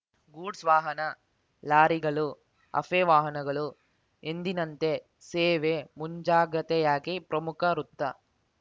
goods ವಾಹನ ಲಾರಿಗಳು ಅಫೆ ವಾಹನಗಳು ಎಂದಿನಂತೆ ಸೇವೆ ಮುಂಜಾಗ್ರತೆಯಾಗಿ ಪ್ರಮುಖ ವೃತ್ತ